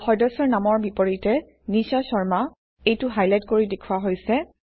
আৰু সদস্যৰ নামৰ বিপৰীতে নিশা শৰ্মা এইটো হাইলাইট কৰি দেখুওৱা হৈছে